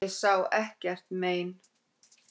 Ég sá ekkert mein.